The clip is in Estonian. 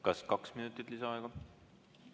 Kas kaks minutit lisaaega?